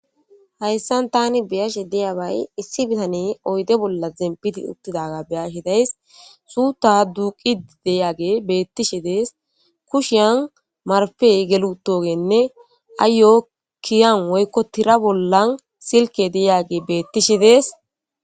hayssan tani beyashi deyabay issi bitane oyde bolla zempiti uttidaga beyashi days suuta duuqi deyage bettishi dees kushiyan marfey gelutogenne aayo kiyan woykko tira bollan silke deyage beettishi dees